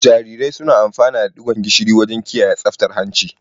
Jarirai suna amfana da digon gishiri wajen kiyaye tsaftar hanci.